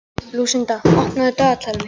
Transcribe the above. Lúsinda, opnaðu dagatalið mitt.